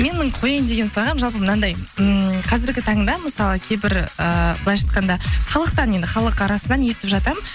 менің қояйын деген сұрағым жалпы мынандай ммм қазіргі таңда мысалы кейбір ыыы былайынша айтқанда халықтан енді халық арасынан естіп жатамын